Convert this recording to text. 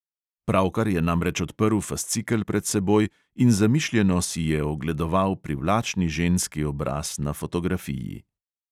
Pravkar je namreč odprl fascikel pred seboj in zamišljeno si je ogledoval privlačni ženski obraz na fotografiji.